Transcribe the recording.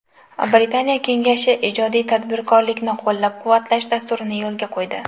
Britaniya Kengashi ijodiy tadbirkorlikni qo‘llab-quvvatlash dasturini yo‘lga qo‘ydi.